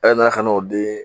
Ale nana kan'o dii